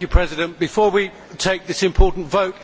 Mr President, before we take this important vote